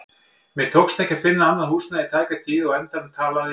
Mér tókst ekki að finna annað húsnæði í tæka tíð og á endanum talaði